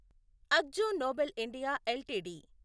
Akzo Nobel India LTD